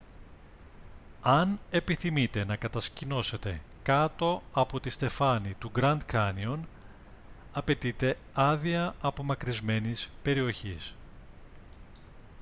αν επιθυμείτε να κατασκηνώσετε κάτω από τη στεφάνη του γκραντ κάνιον απαιτείται άδεια απομακρυσμένης περιοχής